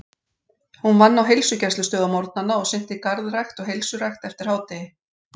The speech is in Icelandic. Hún vann á heilsugæslustöð á morgnana og sinnti garðrækt og heilsurækt eftir hádegi.